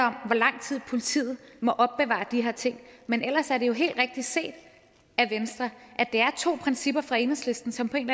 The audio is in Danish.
om hvor lang tid politiet må opbevare de her ting men ellers er det jo helt rigtigt set af venstre at det er to principper for enhedslisten som på en